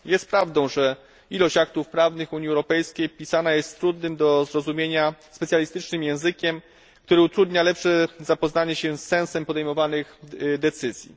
Jest prawdą, że wiele aktów prawnych Unii Europejskiej napisanych jest trudnym do zrozumienia specjalistycznym językiem, który utrudnia lepsze zapoznanie się z sensem podejmowanych decyzji.